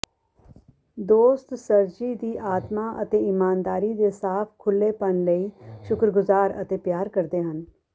ਦੋਸਤ ਸਰਜੀ ਦੀ ਆਤਮਾ ਅਤੇ ਈਮਾਨਦਾਰੀ ਦੇ ਸਾਫ਼ ਖੁੱਲ੍ਹੇਪਨ ਲਈ ਸ਼ੁਕਰਗੁਜ਼ਾਰ ਅਤੇ ਪਿਆਰ ਕਰਦੇ ਹਨ